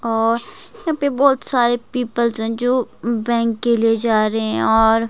और यहां पे बहुत सारे पीपल्स हैं जो बैंक के लिए जा रहे हैं और--